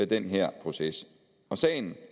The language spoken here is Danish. den her proces sagen